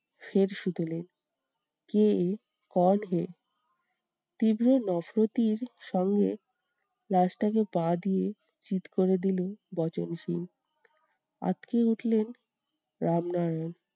ফের শুধোলেন কে এ? তীব্র সঙ্গে লাশটাকে পা দিয়ে চিৎ করে দিলো বচনসুর আঁতকে উঠলেন রামনারায়ণ।